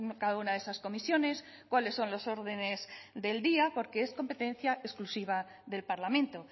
cada una de esas comisiones cuáles son los órdenes del día porque es competencia exclusiva del parlamento